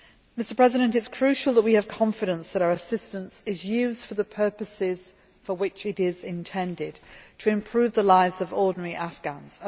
It is crucial that we have confidence that our assistance is being used for the purposes for which it is intended to improve the lives of ordinary Afghans.